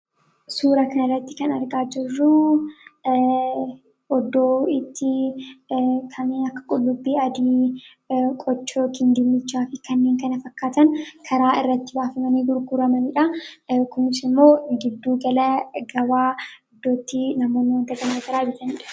Suuraa kanarratti kan argaa jirru iddoo itti qullubbii adii, qochoo, dinnichaa fi kanneen kana fakkaatan daandii irratti baafamanii gurguramanidha. Kunis immoo giddu gala gabaa iddootti namoonni wantoota gara garaa bitanidha.